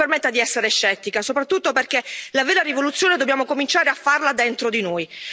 Mi permetta di essere scettica, soprattutto perché la vera rivoluzione dobbiamo cominciare a farla dentro di noi.